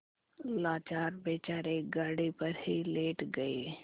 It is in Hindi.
लाचार बेचारे गाड़ी पर ही लेट गये